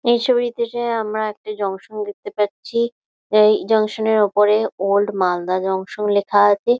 এই ছবিটিতে আমরা একটা জংশন দেখতে পারছি। এই জংশন এর উপরে ওল্ড মালদা জংশন লেখা আছে।